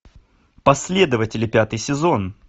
последователи пятый сезон